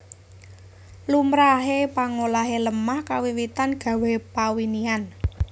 Lumrahe pangolahe lemah kawiwitan gawé pawinihan